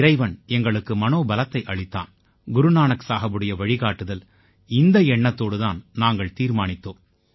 இறைவன் எங்களுக்கு மனோபலத்தை அளித்தான் குரு நானக் சாஹபுடைய வழிகாட்டுதல் இந்த எண்ணத்தோடு தான் நாங்கள் தீர்மானித்தோம்